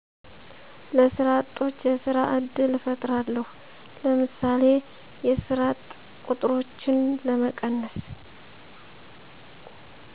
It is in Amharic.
ለሰራ አጦች የስራ እድል እፍጥራለው ለምሳሌ የስራ እጥ ቆጥሮችን ለመቀነስ